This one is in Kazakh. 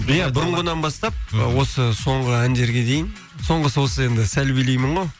иә бұрынғыннан бастап осы соңғы әндерге дейін соңғысы осы енді сәл билеймін ғой